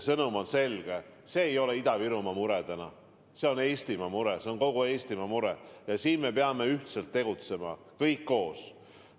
Sõnum on selge: see ei ole täna Ida-Virumaa mure, see on kogu Eestimaa mure, ja me peame ühiselt tegutsema, kõik koos.